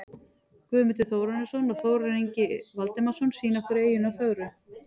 Guðmundur Þórarinsson og Þórarinn Ingi Valdimarsson sýna okkur eyjuna fögru.